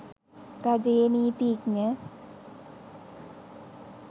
රජයේ නීතිඥ